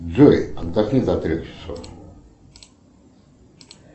джой отдохни до трех часов